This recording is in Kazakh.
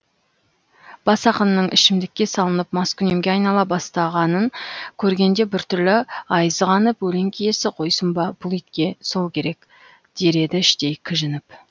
бас ақынның ішімдікке салынып маскүнемге айнала бастағанын көргенде бір түрлі айызы қанып өлең киесі қойсын ба бұл итке сол керек дер еді іштей кіжініп